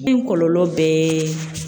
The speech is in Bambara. Min kɔlɔlɔ bɛɛ